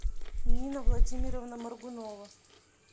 нина владимировна моргунова